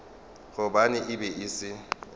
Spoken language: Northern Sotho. gobane e be e se